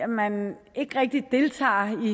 man ikke rigtig deltager